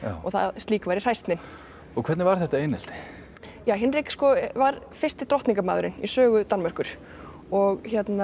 slíkt væri hræsni og hvernig var þetta einelti ja Hinrik var fyrsti í sögu Danmerkur og